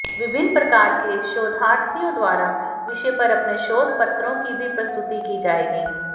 विभिन्न प्रकार के शोधार्थियों द्वारा विषय पर अपने शोध पत्रों की भी प्रस्तुति की जाएगी